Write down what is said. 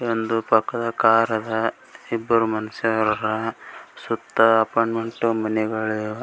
ಒಂದು ಪಕ್ಕದ ಕಾರ್ ಅದ್ ಇಬ್ಬರು ಮನಷ್ಯರು ಹರಾ ಸುತ್ತ ಅಪಾರ್ಟ್ಮೆಂಟ್ ಮನೆಗಳಿವ್ .